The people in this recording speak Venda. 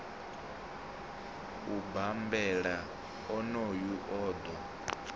u bambela onoyo o ḓo